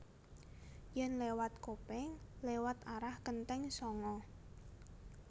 Yen lewat Kopeng lewat arah Kenteng Sanga